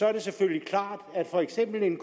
er det selvfølgelig klart at for eksempel en